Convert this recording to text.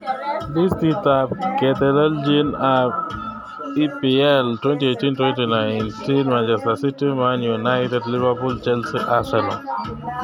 Listit ab ketelelchin ab EPL 2018/19: Manchester City, Man United, Liverpool, Chelsea, Arsenal